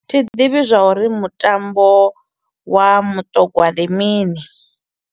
Thi ḓivhi zwa uri mutambo wa muṱogwa ndi mini.